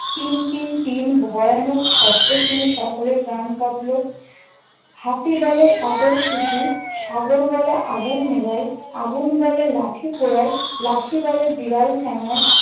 তিন তিন তিন ভয়ানক শব্দ শুনে সকলের প্রাণ কাপল। হাতি বলে সাগর সুসি, সাগর বলে আগুন নিভায় । আগুন বলে লাঠি পোড়ায়, লাঠি বলে বিড়াল ঠেঙ্গায়,